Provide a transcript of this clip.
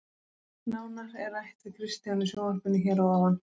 Nánar er rætt við Kristján í sjónvarpinu hér að ofan.